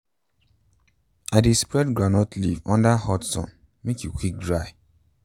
i dey spread groundnut leaf under hot sun make e equick dry.